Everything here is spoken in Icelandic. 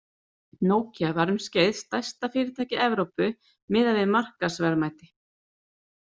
Nokia var um skeið stærsta fyrirtæki Evrópu miðað við markaðsverðmæti.